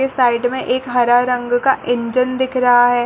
ऐ side में एक हरा रंग का इंजन दिख रहा है।